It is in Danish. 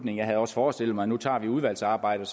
jeg havde også forestillet mig at vi nu tager udvalgsarbejdet